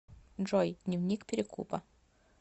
джой дневник перекупа